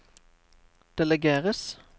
delegeres